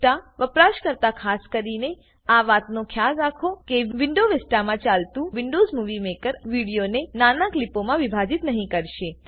vista વપરાશકર્તા ખાસ કરીને આ વાતનો ખ્યાલ રાખો કે વિન્ડોવ્ઝ વિસ્ટામાં ચાલતું વિન્ડોવ્ઝ મુવી મેકર વિડીયોને નાના ક્લીપોમાં વિભાજીત નહી કરશે